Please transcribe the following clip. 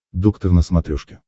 доктор на смотрешке